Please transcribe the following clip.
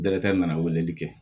Dɛrɛtɛ na weleli kɛ